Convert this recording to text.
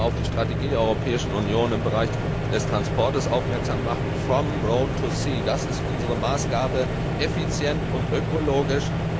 Ich möchte noch einmal auf die Strategie der Europäischen Union im Bereich des Transports aufmerksam machen das ist unsere Maßgabe, effizient und ökologisch.